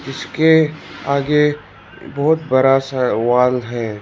इसके आगे बहोत बड़ा सा वाल है।